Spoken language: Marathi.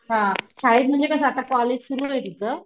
हा शाळेत म्हणजे कस आता कॉलेज सुरुये तीच,